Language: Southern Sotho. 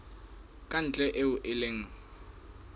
ka ntle eo e leng